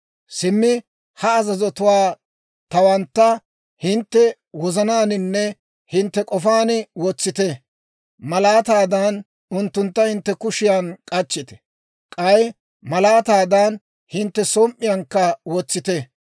«Simmi, ha azazotuwaa tawantta, hintte wozanaaninne hintte k'ofaan wotsite. Malaataadan unttuntta hintte kushiyan k'achchite; k'ay malaataadan hintte som"iyaankka wotsite.